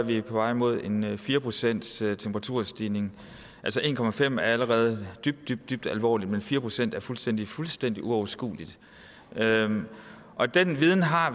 vi på vej mod en fire procentstemperaturstigning altså en procent er allerede dybt dybt dybt alvorligt men fire procent er fuldstændig fuldstændig uoverskueligt og den viden har